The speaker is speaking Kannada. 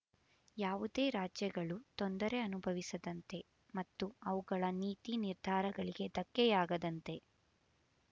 ಯಾವುದೇ ರಾಜ್ಯಗಳು ತೊಂದರೆ ಅನುಭವಿಸದಂತೆ ಮತ್ತು ಅವುಗಳ ನೀತಿ ನಿರ್ಧಾರಗಳಿಗೆ ಧಕ್ಕೆಯಾಗದಂತೆ